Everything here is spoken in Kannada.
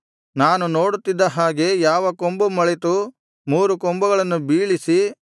ನಾನು ನೋಡುತ್ತಿದ್ದ ಹಾಗೆ ಯಾವ ಕೊಂಬು ಮೊಳೆತು ಮೂರು ಕೊಂಬುಗಳನ್ನು ಬೀಳಿಸಿ